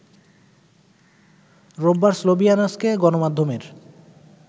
রোববার স্লোভিয়ানস্কে গণমাধ্যমের